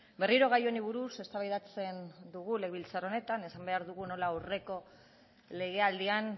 berriro gai honi buruz eztabaidatzen dugu legebiltzar honetan esan behar dugu nola aurreko legealdian